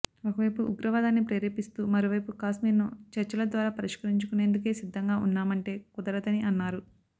ఒకవైపు ఉగ్రవాదాన్ని ప్రేరేపిస్తూ మరోవైపు కాశ్మీర్ను చర్చల ద్వారా పరిష్కరించుకునేందుకు సిద్ధంగా ఉన్నామంటే కుదరదని అన్నారు